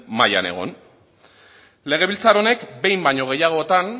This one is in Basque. mailan egon legebiltzar honek behin baino gehiagotan